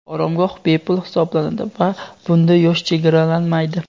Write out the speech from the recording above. oromgoh bepul hisoblanadi va bunda yosh chegaralanmaydi.